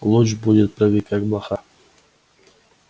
луч будет прыгать как блоха